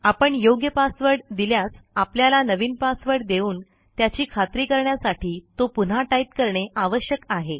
आपण योग्य पासवर्ड दिल्यास आपल्याला नवीन पासवर्ड देऊन त्याची खात्री करण्यासाठी तो पुन्हा टाईप करणे आवश्यक आहे